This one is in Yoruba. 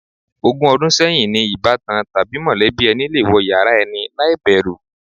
Ogún o̩dún sé̩yìn ni ìbátan tàbí mò̩lé̩bí e̩ni le wo̩ yàrá e̩ni láì bè̩rù.